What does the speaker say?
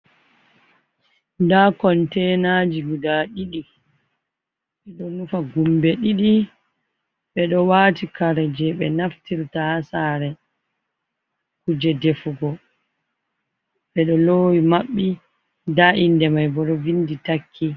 Nda kontenaji guda ɗidi. Ɓe ɗo nufa gumbe ɗiɗi. Be ɗo wati kare je ɓe naftirta ha sare. Kuje defugo, ɓe ɗo lowi maɓɓi, nda inde mai bo ɗo vindi takki.